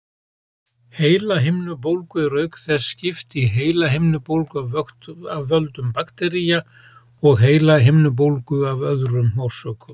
Heilahimnubólgu er auk þess skipt í heilahimnubólgu af völdum baktería og heilahimnubólgu af öðrum orsökum.